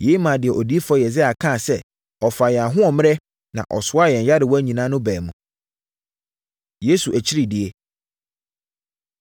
Yei maa deɛ Odiyifoɔ Yesaia kaa sɛ, “Ɔfaa yɛn ahoɔmmerɛ, na ɔsoaa yɛn nyarewa nyinaa” no baa mu. Yesu Akyiridie